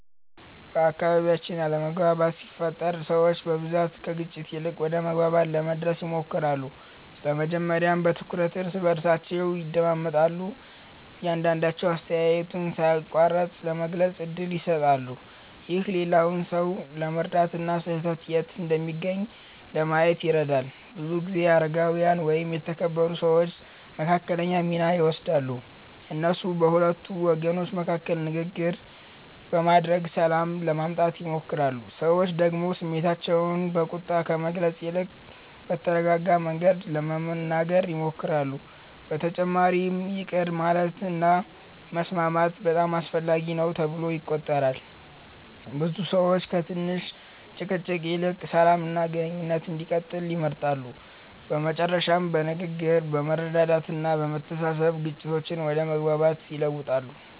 በአካባቢያችን አለመግባባት ሲፈጠር ሰዎች በብዛት ከግጭት ይልቅ ወደ መግባባት ለመድረስ ይሞክራሉ። መጀመሪያ በትኩረት እርስ በርሳቸውን ያዳምጣሉ፣ እያንዳቸዉ አስተያየቱን ሳይቋረጥ ለመግለጽ እድል ይሰጣሉ። ይህ ሌላውን ሰው ለመረዳት እና ስህተት የት እንደሚገኝ ለማየት ይረዳል። ብዙ ጊዜ አረጋዊያን ወይም የተከበሩ ሰዎች መካከለኛ ሚና ይወስዳሉ። እነሱ በሁለቱ ወገኖች መካከል ንግግር በማድረግ ሰላም ለማምጣት ይሞክራሉ። ሰዎች ደግሞ ስሜታቸውን በቁጣ ከመግለጽ ይልቅ በተረጋጋ መንገድ ለመናገር ይሞክራሉ። በተጨማሪም ይቅር ማለት እና መስማማት በጣም አስፈላጊ ነው ተብሎ ይቆጠራል። ብዙ ሰዎች ከትንሽ ጭቅጭቅ ይልቅ ሰላም እና ግንኙነት እንዲቀጥል ይመርጣሉ። በመጨረሻም በንግግር፣ በመረዳዳት እና በመተሳሰብ ግጭቶች ወደ መግባባት ይለወጣሉ።